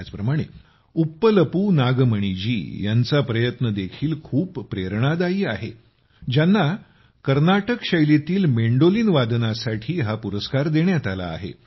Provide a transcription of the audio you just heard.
त्याचप्रमाणे उप्पलपू नागमणी जी यांचा प्रयत्न देखील खूप प्रेरणादायी आहे ज्यांना मँडोलिनमध्ये कर्नाटक शैलीतील वादनासाठी हा पुरस्कार देण्यात आला आहे